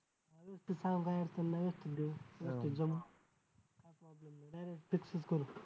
काय अडचण नाही direct fix च करू.